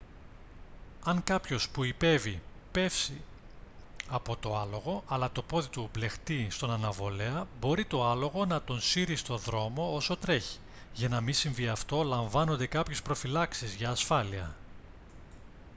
αν κάποιος που ιππέυει πέσει από το άλογο αλλά το πόδι του μπλεχτεί στον αναβολέα μπορεί το άλογο να τον σύρει στο δρόμο όσο τρέχει για να μη συμβεί αυτό λαμβάνονται κάποιες προφυλάξεις για ασφάλεια